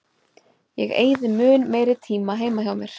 Ég eyði mun meiri tíma heima hjá mér.